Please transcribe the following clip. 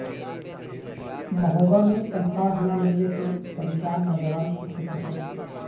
مہوبہ میں تنخواہ نہ ملنے سے پریشان نوجوان کی خود کشی